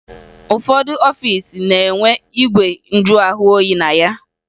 Ụfọdụ ọfiisi na-enwe igwe njụahụoyi na ya